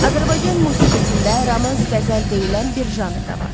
Azərbaycan musiqisində romans-qəzəl deyilən bir janr da var.